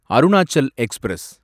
Arunachal express